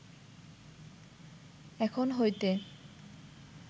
এখন হইতে